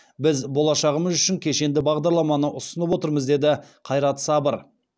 біз болашағымыз үшін кешенді бағдараманы ұсынып отырмыз деді қайрат сабыр